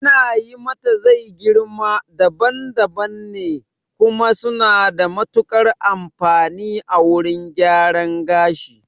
Ana yi matazai girma daban daban ne, kuma suna da matuƙar amfani a wurin gyaran gashi